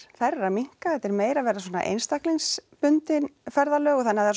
þær eru að minnka þetta er meira að verða svona einstaklingsbundin ferðalög þannig að það